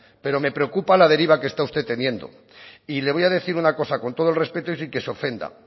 pero me preocupa la deriva que está usted teniendo y le voy a decir una cosa con todo el respeto y sin que se ofenda